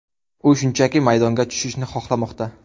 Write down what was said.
U shunchaki maydonga tushishni xohlamoqda.